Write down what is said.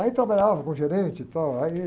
Aí trabalhava com gerente e tal, aí